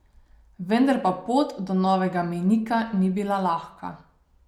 Vendar pa pot do novega mejnika ni bila lahka.